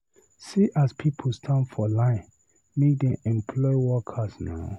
See as pipu standa for line, make dem employ workers na.